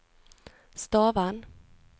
Stavern